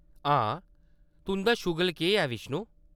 हां, तुंʼदा शुगल केह्‌‌ ऐ, बिष्णु ?